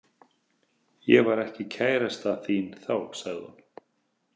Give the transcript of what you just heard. Ég var ekki kærasta þín þá, sagði hún.